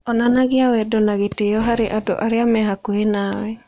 Onanagia wendo na gĩtĩo harĩ andũ arĩa marĩ hakuhĩ nawe.